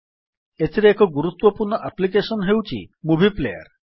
ଏଥିରେ ଏକ ଗୁରୁତ୍ୱପୂର୍ଣ୍ଣ ଆପ୍ଲିକେଶନ୍ ହେଉଛି ମୁଭି ପ୍ଲେୟାର୍